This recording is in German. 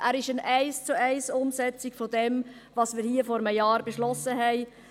Er ist eine Eins-zu-eins-Umsetzung dessen, was wir hier vor einem Jahr beschlossen haben: